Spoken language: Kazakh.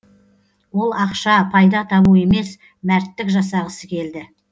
ол ақша пайда табу емес мәрттік жасағысы келді